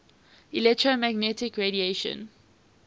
electromagnetic radiation